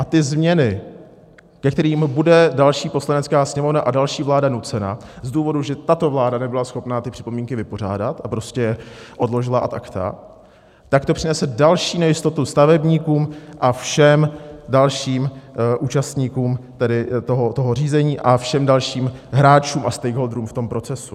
A ty změny, ke kterým bude další Poslanecká sněmovna a další vláda nucena z důvodu, že tato vláda nebyla schopna ty připomínky vypořádat a prostě je odložila ad acta, tak to přinese další nejistotu stavebníkům a všem dalším účastníkům toho řízení a všem dalším hráčům a stakeholderům v tom procesu.